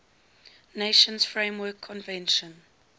nations framework convention